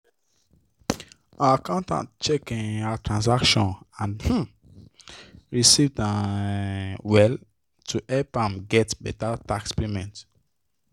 her accountant check um her transaction and um receipts um well to help am get better tax payment